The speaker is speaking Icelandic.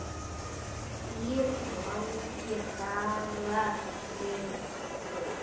Þrír langir dagar liðu.